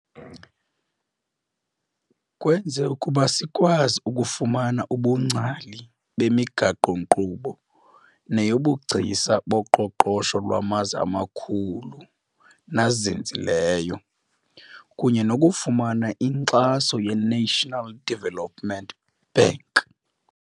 Kwenze ukuba sikwazi ukufumana ubungcali bemigaqo-nkqubo neyobugcisa boqoqosho lwamazwe amakhulu nazinzileyo, kunye nokufumana inkxaso ye-National Development Bank .